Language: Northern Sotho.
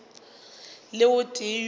le o tee yo a